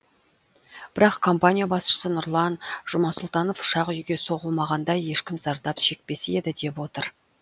бірақ компания басшысы нұрлан жұмасұлтанов ұшақ үйге соғылмағанда ешкім зардап шекпес еді деп отыр